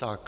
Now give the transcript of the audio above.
Tak.